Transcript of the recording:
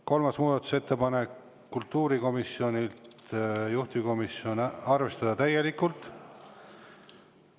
Kolmas muudatusettepanek on kultuurikomisjonilt, juhtivkomisjoni ettepanek on seda arvestada täielikult.